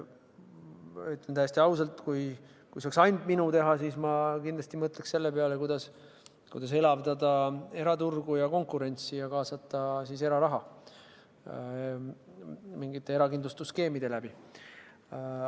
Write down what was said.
Ütlen täiesti ausalt: kui see oleks ainult minu teha, siis ma kindlasti mõtleks selle peale, kuidas elavdada eraturgu ja konkurentsi ning kaasata eraraha mingite erakindlustusskeemide kaudu.